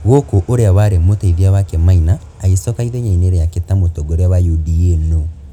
gũkũ ũrĩa warĩ mũteithia wake Maina agicoka ithenya-ini riake ta mutongoria wa UDA-NU.